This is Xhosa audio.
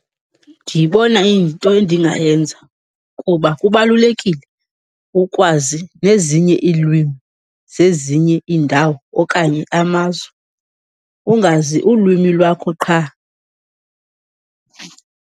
Ndiyibona iyinto endingayenza kuba kubalulekile ukwazi nezinye iilwimi zezinye iindawo okanye amazwe, ungazi ulwimi lwakho qha.